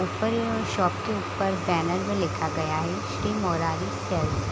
ऊपर यह शॉप के ऊपर बैनर में लिखा गया है श्री मुरारी सेल्स ।